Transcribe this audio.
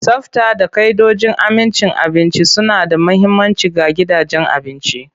Tsafta da ka'idojin amincin abinci suna da mahimmanci ga gidajen abinci.